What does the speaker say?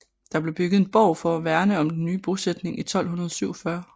Der blev bygget en borg for at værne om den nye bosætning i 1247